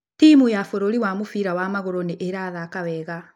Timu ya bũrũri ya mũbira wa magũrũ nĩ ĩrathaka wega.